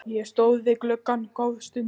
Ég stóð við gluggann góða stund.